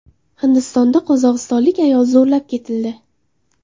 Hindistonda qozog‘istonlik ayol zo‘rlab ketildi.